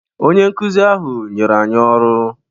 Onye nkụzi ahụ nyere anyị ọrụ